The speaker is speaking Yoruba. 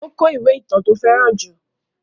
Ó kó ìwé ìtàn tí ó fẹ́ràn jù.